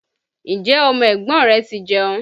Ǹjẹ́ ọmọ ẹ̀gbọ́n rẹ ti jẹun?